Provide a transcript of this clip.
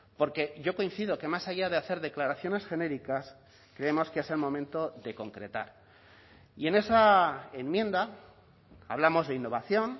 porque yo coincido que más allá de hacer declaraciones genéricas creemos que es el momento de concretar y en esa enmienda hablamos de innovación